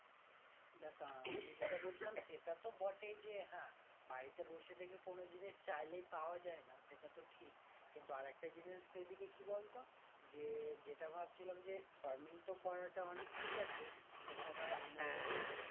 দেখ আমি যেটা বলছিলাম সেটা তো বটেই যে হ্যাঁ বাড়িতে বসে থেকে কোনো জিনিস চাইলেই পাওয়া যাই না সেটাতো ঠিক কিন্তু আরেকটা জিনিস সেদিকে কি বলতো যে যেটা ভাবছিলাম যে farming তো করাটা অনেক ঠিক আছে সেটা ধর আমরা যদি